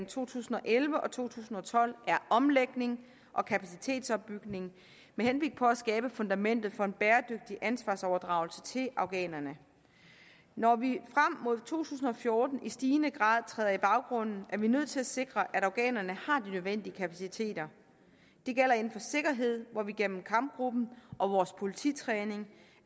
to tusind og elleve og to tusind og tolv er omlægning og kapacitetsopbygning med henblik på at skabe fundamentet for en bæredygtig ansvarsoverdragelse til afghanerne når vi frem mod to tusind og fjorten i stigende grad træder i baggrunden er vi nødt til at sikre at afghanerne har de nødvendige kapaciteter det gælder inden for sikkerhed hvor vi gennem kampgruppen og vores polititræning